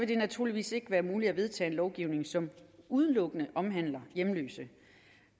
det naturligvis ikke være muligt at vedtage en lovgivning som udelukkende omhandler hjemløse